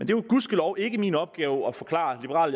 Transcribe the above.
jo gudskelov ikke min opgave at forklare liberal